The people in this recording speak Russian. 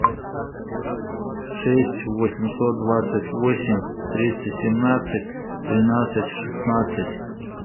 шесть восемьсот двадцать восемь триста семнадцать тринадцать шестнадцать